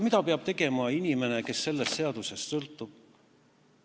Mida peab aga tegema inimene, kes sellest seadusest sõltub?